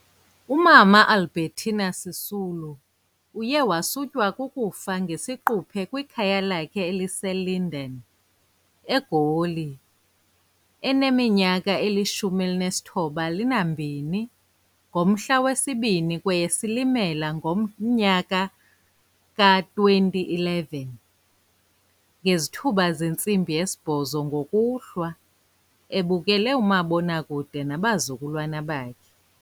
uMama Albertina Sisulu uyewasutywa kukufa ngesiquphe kwikhaya lakhe eliseLinden, eGoli, eneminyaka engama-92 ngomhla wesi-2 kweyeSilimela ngomnyaka wama-2011 ngezithuba zentsimbi yesibhozo ngokuhlwa, ebukele umabonakude nabazukulwana bakhe.